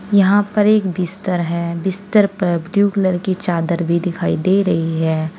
यहां पर एक बिस्तर है बिस्तर पर ब्लू कलर की चादर भी दिखाई दे रही है।